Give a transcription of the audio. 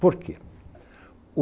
Por quê?